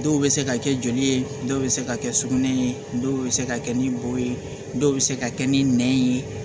Dɔw bɛ se ka kɛ joli ye dɔw bɛ se ka kɛ sugunɛ ye dɔw bɛ se ka kɛ ni bɔ ye dɔw bɛ se ka kɛ ni nɛn ye